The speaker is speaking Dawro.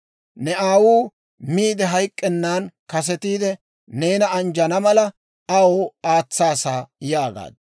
Ne aawuu miide hayk'k'ennan kasetiide neena anjjana mala, aw aatsaasa» yaagaaddu.